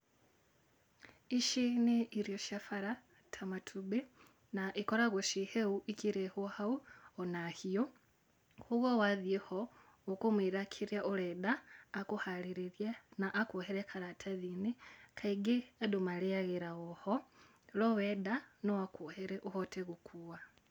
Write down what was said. Ici nĩ irio cia bara ta matumbĩ, na ikoragwo ci hĩu ikĩrehwo hau ona hiũ. Kũguo wathiĩ ho, ũkũmwĩra kĩrĩa ũrenda akũharĩrĩrie na akuohere karatathi-inĩ. Kaingĩ andũ marĩagĩra o ho no wenda no akuohere ũhote gũkuua.